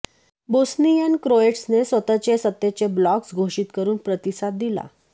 Bosnian क्रोएट्सने स्वतःचे सत्तेचे ब्लॉग्ज घोषित करून प्रतिसाद दिला